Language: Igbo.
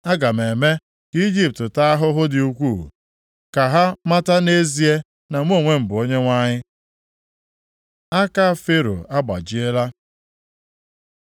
Aga m eme ka Ijipt taa ahụhụ dị ukwuu, ka ha mata nʼezie na mụ onwe m bụ Onyenwe anyị.’ ” Aka Fero agbajiela